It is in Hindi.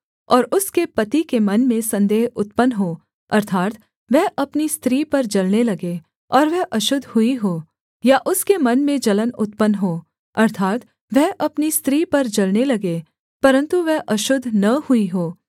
और उसके पति के मन में संदेह उत्पन्न हो अर्थात् वह अपनी स्त्री पर जलने लगे और वह अशुद्ध हुई हो या उसके मन में जलन उत्पन्न हो अर्थात् वह अपनी स्त्री पर जलने लगे परन्तु वह अशुद्ध न हुई हो